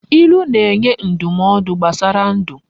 Ilu na enye ndumaodu gbasara ndu